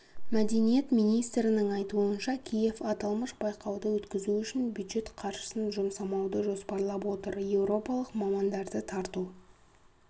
мәдениет министрінің айтуынша киев аталмыш байқауды өткізу үшін бюджет қаржысын жұмсамауды жоспарлап отыр еуропалық мамандарды тарту